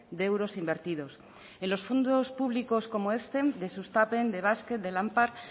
de euros invertidos en los fondos públicos como este de sustapen de basque de lanpar